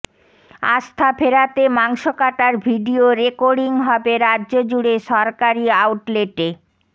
আস্থা ফেরাতে মাংস কাটার ভিডিও রেকর্ডিং হবে রাজ্যজুড়ে সরকারি আউটলেটে